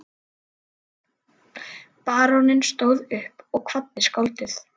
Baróninn stóð upp og kvaddi skáldið.